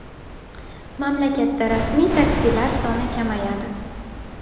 Mamlakatda rasmiy taksilar soni kamayadi.